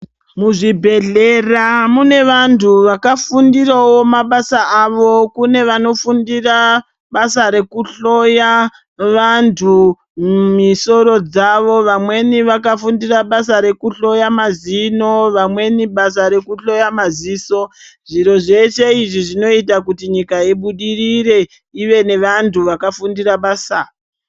Muzvibhedhlera mene antu akafundira wo basa ravo kune vanmo fundira basa rekuhloya vantu misoro dzavo vamweni vakafundire basa rekuhloya mazino vamweni vasa rekuhloya maziso zviro zveshe izvi zvinoita nyika ibudirire ive nevantu vakafundira basa.